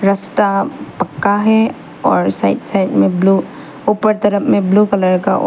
रास्ता पक्का है और साइड साइड में ब्लू ऊपर तरफ में ब्लू कलर का--